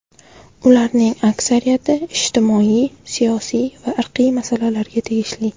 Ularning aksariyati ijtimoiy, siyosiy va irqiy masalalarga tegishli.